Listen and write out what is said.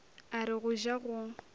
a re go ja go